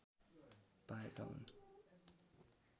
पाएका हुन्